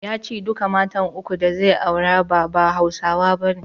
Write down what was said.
Ya ce duka matan uku da zai aura ba, ba Hausawa bane.